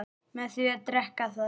með því að drekka það